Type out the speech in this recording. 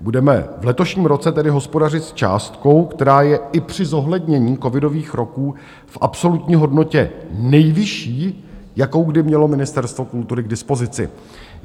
Budeme v letošním roce tedy hospodařit s částkou, která je i při zohlednění covidových roků v absolutní hodnotě nejvyšší, jakou kdy mělo Ministerstvo kultury k dispozici.